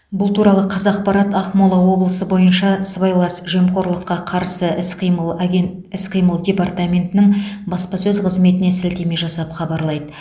бұл туралы қазақпарат ақмола облысы бойынша сыбайлас жемқорлыққа қарсы іс қимыл агент іс қимыл департаментінің баспасөз қызметіне сілтеме жасап хабарлайды